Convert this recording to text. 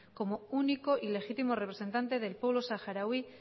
como único y legítimo representante del pueblo saharaui